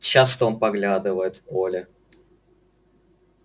часто он поглядывает в поле